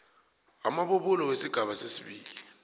amabubulo wesigaba sesibili